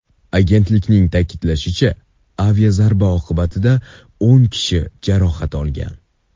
Agentlikning ta’kidlashicha, aviazarba oqibatida o‘n kishi jarohat olgan.